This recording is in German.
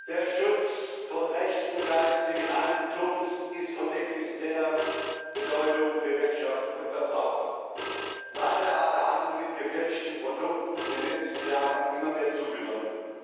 Herr Präsident! Der Schutz von Rechten geistigen Eigentums ist von existenzieller Bedeutung für Wirtschaft und Verbraucher. Leider hat der Handel mit gefälschten Produkten in den letzten Jahren immer mehr zugenommen.